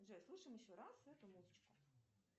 джой слушаем еще раз эту музычку